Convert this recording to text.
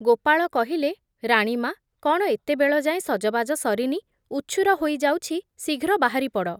ଗୋପାଳ କହିଲେ, ରାଣୀମା’, କ’ଣ ଏତେ ବେଳ ଯାଏଁ ସଜବାଜ ସରିନି, ଉଛୁର ହୋଇ ଯାଉଛି ଶୀଘ୍ର ବାହାରି ପଡ଼।